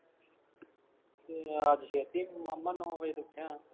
ਕਿੱਥੇ ਯਾਰ ਛੇਤੀ ਆ ਤੂੰ ਮਾਮਾ ਨੌ ਵਜੇ ਤਾਂ ਉੱਠਿਆਂ